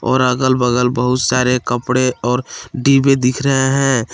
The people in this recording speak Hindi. और अगल बगल बहुत सारे कपड़े और डिब्बे दिख रहे हैं।